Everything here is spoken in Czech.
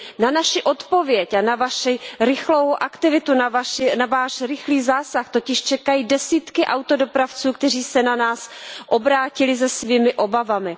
Na naši odpověď a na vaši rychlou aktivitu, na váš rychlý zásah totiž čekají desítky autodopravců, kteří se na nás obrátili se svými obavami.